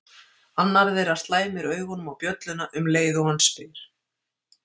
Annar þeirra slæmir augunum á bjölluna um leið og hann spyr